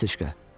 Niyetochka.